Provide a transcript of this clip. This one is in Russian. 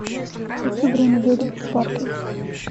хочу время ведьм фор кей